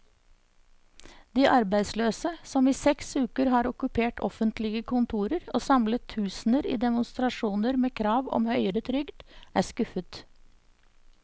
De arbeidsløse, som i seks uker har okkupert offentlige kontorer og samlet tusener i demonstrasjoner med krav om høyere trygd, er skuffet.